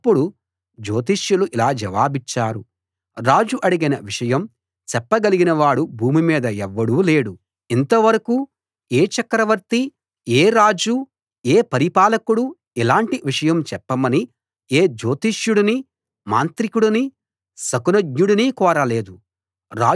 అప్పుడు జోతిష్యులు ఇలా జవాబిచ్చారు రాజు అడిగిన విషయం చెప్పగలిగినవాడు భూమి మీద ఎవ్వడూ లేడు ఇంతవరకూ ఏ చక్రవర్తి ఏ రాజూ ఏ పరిపాలకుడూ ఇలాంటి విషయం చెప్పమని ఏ జోతిష్యుడినీ మాంత్రికుడినీ శకునజ్ఞుడినీ కోరలేదు